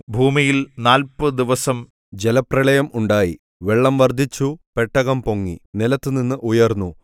ഭൂമിയിൽ നാല്പത് ദിവസം ജലപ്രളയം ഉണ്ടായി വെള്ളം വർദ്ധിച്ചു പെട്ടകം പൊങ്ങി നിലത്തുനിന്ന് ഉയർന്നു